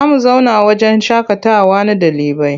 Za mu zauna wahjen shaƙatawa na ɗalibai.